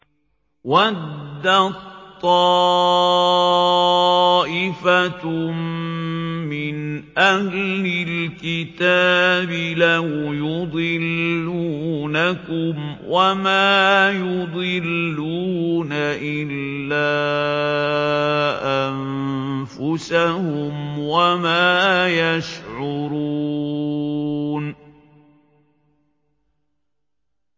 وَدَّت طَّائِفَةٌ مِّنْ أَهْلِ الْكِتَابِ لَوْ يُضِلُّونَكُمْ وَمَا يُضِلُّونَ إِلَّا أَنفُسَهُمْ وَمَا يَشْعُرُونَ